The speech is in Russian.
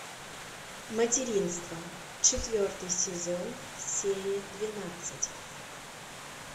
материнство четвертый сезон серия двенадцать